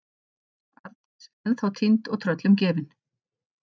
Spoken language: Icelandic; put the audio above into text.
Arndís ennþá týnd og tröllum gefin.